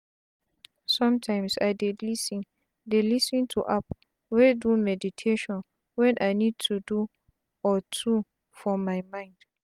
somtimes i dey lis ten dey lis ten to app wey do meditation wen i need to do or two for my mind.